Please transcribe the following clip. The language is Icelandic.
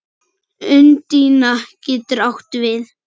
Undína getur átt við